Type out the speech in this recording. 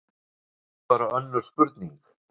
En það er bara önnur spurning.